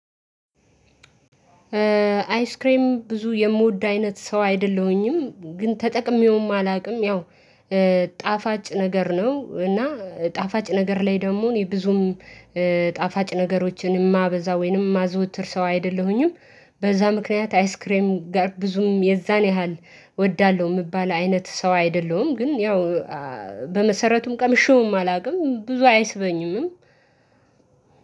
አይስክሬም ብዙ የምወድ አይነት ሰው አይደለሁኝም። ግን ተጠቅሜውም አላውቅም። ያው ጣፋጭ ነገር ነው እና ጣፋጭ ነገር ላይ ደግሞ እኔ ብዙም ጣፋጭ ነገሮችን የማበዛ ወይንም የማዘወትር ሰው አይደለሁኝም። በዛ ምክንያት አይስ ክሬም ጋር ብዙም የዛን ያህል እወዳለሁ የምባል አይነት ሰው አይደለሁም። ግን ያው በመሰረቱም ቀምሼውም አላውቅም ብዙ አይስበኝም።